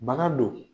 Bana don